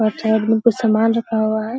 और साइड में कुछ सामान रखा हुआ है।